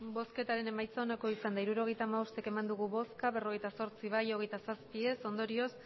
emandako botoak hirurogeita hamabost bai berrogeita zortzi ez hogeita zazpi ondorioz